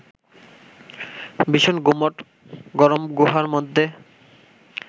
ভীষণ গুমোট গরম গুহার মধ্যে